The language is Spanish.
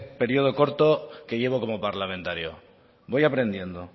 periodo corto que llevo como parlamentario voy aprendiendo